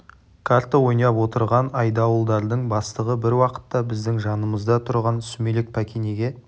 қарта ойнап отырған айдауылдардың бастығы бір уақытта біздің жанымызда тұрған сүмелек пәкенеге